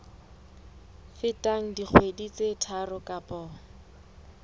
feteng dikgwedi tse tharo kapa